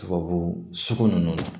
Tubabu sugu ninnu na